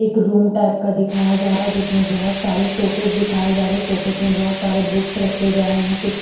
एक room type का दिखाया जा रहा है जिसमें बहुत सारे शोकेस दिखाए जा रहे हैंशोकेस में बहुत सारे बुक्स रखे गए हैंकुछ--